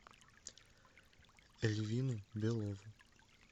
эльвину белову